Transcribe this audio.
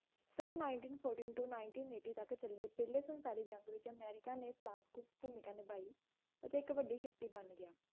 son nineteen fourteen to nineteen eighteen ਤਕ ਚੱਲੇ ਪਹਿਲੀ ਸੰਸਾਰਿਕ ਜੰਗ ਵਿਚ ਅਮਰੀਕਾ ਨੇ ਭੂਮਿਕਾ ਨਿਭਾਈ ਤੇ ਇਕ ਵੱਡੀ ਸ਼ਕਤੀ ਬਣ ਗਿਆ